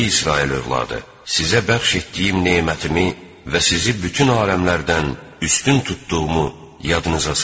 Ey İsrail övladı, sizə bəxş etdiyim nemətimi və sizi bütün aləmlərdən üstün tutduğumu yadınıza salın.